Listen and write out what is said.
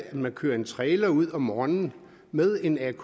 man kører en trailer ud om morgenen med en atk